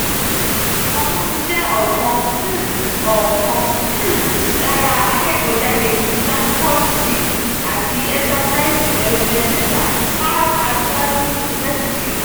balógun jẹ ọ̀kan um ọ̀kan um lára akẹ́kọ̀ọ́-jáde ti standford seed àti enterprise development centre pan atlantic university.